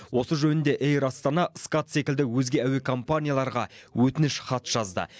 осы жөнінде эйр астана скат секілді өзге әуе компанияларға өтініш хат жазды